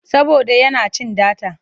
Saboda yana cin data.